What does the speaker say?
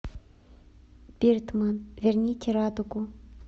биртман верните радугу